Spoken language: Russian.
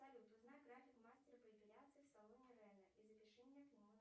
салют узнай график мастера по эпиляции в салоне ренэ и запиши меня к нему